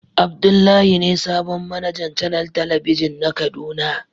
Abdullahi be sabon managan canel telebijin na kaduna.